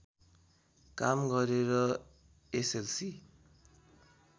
काम गरेर एसएलसी